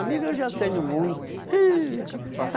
Amigo eu já tenho muito. Ih